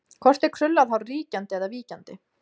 Hvort er krullað hár ríkjandi eða víkjandi?